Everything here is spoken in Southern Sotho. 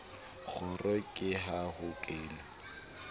kgoro ke ha ho kenwa